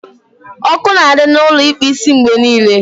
Ọkụ na adị na Ụlọ ịkpụ isimgbe niile